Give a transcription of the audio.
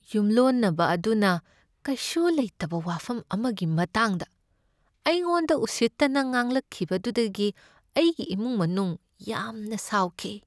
ꯌꯨꯝꯂꯣꯟꯅꯕ ꯑꯗꯨꯅ ꯀꯩꯁꯨ ꯂꯩꯇꯕ ꯋꯥꯐꯝ ꯑꯃꯒꯤ ꯃꯇꯥꯡꯗ ꯑꯩꯉꯣꯟꯗ ꯎꯁꯤꯠꯇꯅ ꯉꯥꯡꯂꯛꯈꯤꯕꯗꯨꯗꯒꯤ ꯑꯩꯒꯤ ꯏꯃꯨꯡ ꯃꯅꯨꯡ ꯌꯥꯝꯅ ꯁꯥꯎꯈꯤ ꯫